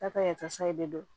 Ta ka yasa i bɛ dɔn